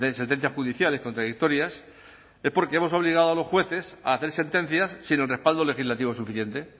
setenta judiciales contradictorias es porque hemos obligado a los jueces a hacer sentencias sin el respaldo legislativo suficiente